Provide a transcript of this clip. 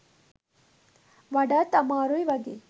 වඩාත් අමාරුයි වගේ.